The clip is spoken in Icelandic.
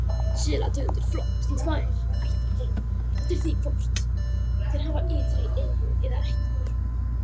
Selategundir flokkast í tvær ættir eftir því hvort þær hafa ytri eyru eða ekki.